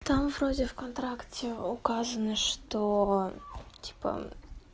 там вроде в контракте указано что типа